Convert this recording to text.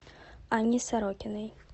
анне сорокиной